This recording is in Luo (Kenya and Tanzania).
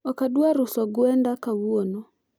ok adwar uso gwenda kawuono